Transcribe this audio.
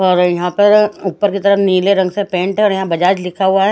और यहाँ पर ऊपर की तरफ नीले रंग से पैंट है और यहाँ बजाज लिखा हुआ है।